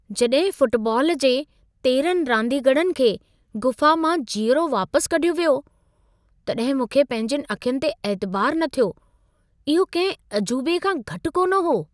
जॾहिं फुटबॉल जे 13 रांदीगरनि खे गुफ़ा मां जीअरो वापसि कढियो वियो, तॾहिं मूंखे पंहिंजियुनि अखियुनि ते ऐतिबारु न थियो। इहो कंहिं अजूबे खां घटि कोन हो।